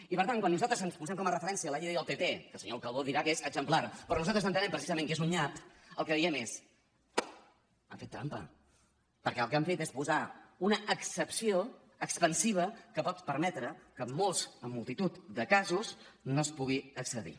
i per tant quan nosaltres ens posem com a referència la llei del pp que el senyor calbó dirà que és exemplar però nosaltres entenem precisament que és un nyap el que diem és han fet trampa perquè el que han fet és posar una excepció expansiva que pot permetre que en molts en multitud de casos no es pugui accedir